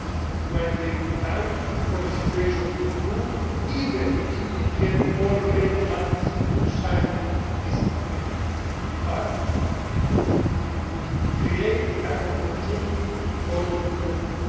It might take time for the situation to improve, even if we get all the main parties to sign this agreement. But it would create an opportunity for improvement.